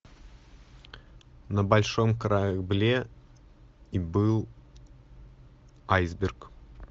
на большом корабле и был айсберг